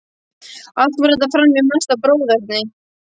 Allt fór þetta fram í mesta bróðerni.